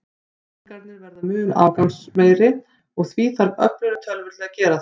Reikningarnir verða mun umfangsmeiri, og því þarf öflugri tölvur til að gera þá.